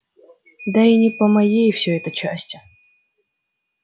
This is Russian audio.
да и не по моей все это части